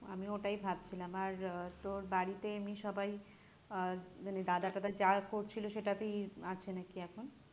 আমি ওটাই ভাবছিলাম আর আহ তোর বাড়িতে এমনি সবাই আহ মানে দাদা তাডা যা করছিল সেটাতেই আছে না কি এখন?